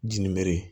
Jinɛbe